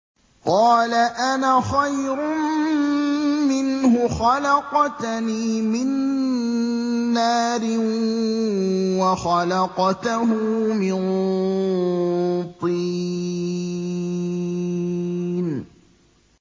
قَالَ أَنَا خَيْرٌ مِّنْهُ ۖ خَلَقْتَنِي مِن نَّارٍ وَخَلَقْتَهُ مِن طِينٍ